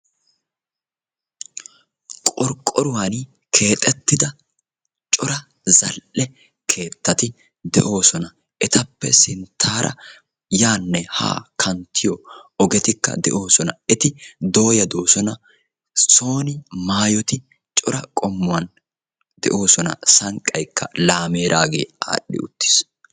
Qorqqoruwaan keexettida cora zal"e keettati de'oosona. etappe sinttaara yaanne haa kanttiyoo ogettikka de'oosona. etikka dooyya doosona. maayoti cora qommuwaan de'oosona. sanqqayikka laameraagee adhdhi uttiis.